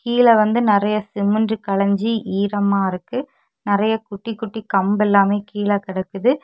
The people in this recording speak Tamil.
கீழே வந்து நறைய சிமெண்ட் கலைஞ்சி ஈரமா இருக்கு நறைய குட்டி குட்டி கம்பு எல்லாமே கீழ கிடக்குது.